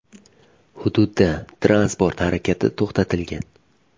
Hududda transport harakati to‘xtatilgan.